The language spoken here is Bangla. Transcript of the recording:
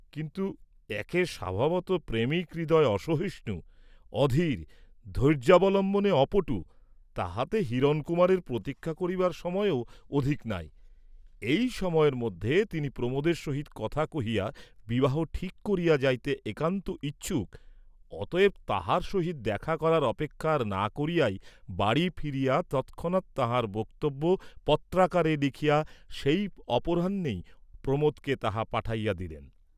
কিন্তু একে স্বভাবতঃ প্রেমিক হৃদয় অসহিষ্ণু, অধীর, ধৈর্য্যাবলম্বনে অপটু, তাহাতে হিরণকুমারের প্রতীক্ষা করিবার সময়ও অধিক নাই, এই সময়ের মধ্যে তিনি প্রমোদের সহিত কথা কহিয়া বিবাহ ঠিক করিয়া যাইতে একান্ত ইচ্ছুক, অতএব তাঁহার সহিত দেখা করার অপেক্ষা আর না করিয়াই বাড়ী ফিরিয়া তৎক্ষণাৎ তাঁহার বক্তব্য পত্রাকারে লিখিয়া সেই অপরাহ্নেই প্রমোদকে তাহা পাঠাইয়া দিলেন।